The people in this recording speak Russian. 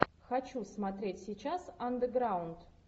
хочу смотреть сейчас андеграунд